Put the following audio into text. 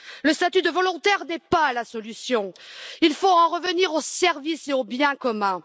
Le statut de volontaire n'est pas la solution. Il faut en revenir au service et au bien commun.